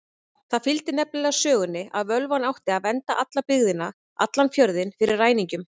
Það fylgdi nefnilega sögunni að völvan átti að vernda alla byggðina, allan fjörðinn, fyrir ræningjum.